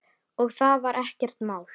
Og það var ekkert mál.